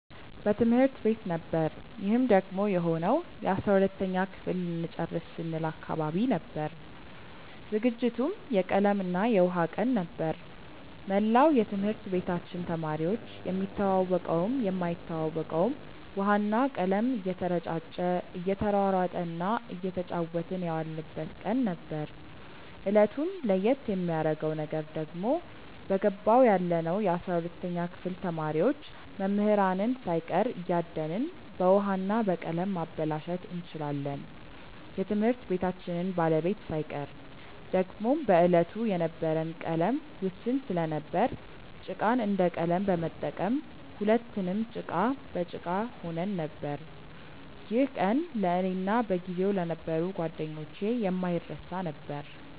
በትምህርት ቤት ነበር ይህም ደግሞ የሆነው የ12ተኛ ክፍል ልንጨርስ ስንል አካባቢ ነበር። ዝግጅቱም የቀለም እና የውሃ ቀን ነበር። መላው የትምህርት ቤታችን ተማሪዎች የሚተዋወቀውም የማይተዋወቀውም ውሃ እና ቀለም እየተረጫጨ እየተሯሯጠ እና እየተጫወትን የዋልንበት ቀን ነበር። እለቱን ለየት የሚያረገው ነገር ደግሞ በገባው ያለነው የ12ተኛ ክፍል ተማሪዎች መምህራንን ሳይቀር እያደንን በውሀ እና በቀለም ማበላሸት እንችላለን የትምህርት ቤታችንን ባለቤት ሳይቀር። ደግሞም በዕለቱ የነበረን ቀለም ውስን ስለነበር ጭቃን እንደ ቀለም በመጠቀም ሁለትንም ጭቃ በጭቃ ሆነን ነበር። ይህ ቀን ለእኔ እና በጊዜው ለነበሩ ጓደኞቼ የማይረሳ ነበር።